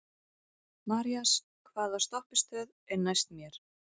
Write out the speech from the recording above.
Marías, hvaða stoppistöð er næst mér?